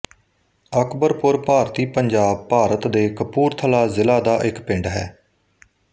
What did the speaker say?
ਅਕਬਰਪੁਰ ਭਾਰਤੀ ਪੰਜਾਬ ਭਾਰਤ ਦੇ ਕਪੂਰਥਲਾ ਜ਼ਿਲ੍ਹਾ ਦਾ ਇੱਕ ਪਿੰਡ ਹੈ